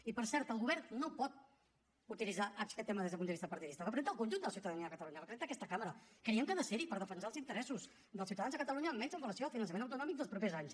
i per cert el govern no pot utilitzar aquest tema des d’un punt de vista partidista representa el conjunt de la ciutadania de catalunya representa aquesta cambra creiem que ha de ser hi per defensar els interessos dels ciutadans de catalunya almenys amb relació al finançament autonòmic dels propers anys